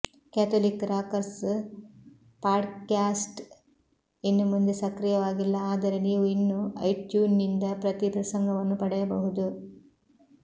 Catholic rockers podcast ಇನ್ನು ಮುಂದೆ ಸಕ್ರಿಯವಾಗಿಲ್ಲ ಆದರೆ ನೀವು ಇನ್ನೂ ಐಟ್ಯೂನ್ಸ್ನಿಂದ ಪ್ರತಿ ಪ್ರಸಂಗವನ್ನು ಪಡೆಯಬಹುದು